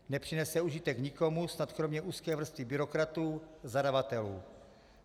Nepřinese užitek nikomu, snad kromě úzké vrstvy byrokratů - zadavatelů.